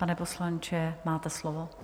Pane poslanče, máte slovo.